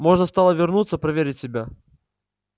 можно стало вернуться проверить себя